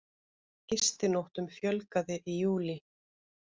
Gistinóttum fjölgaði í júlí